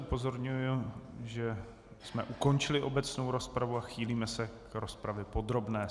Upozorňuji, že jsme ukončili obecnou rozpravu a chýlíme se k rozpravě podrobné.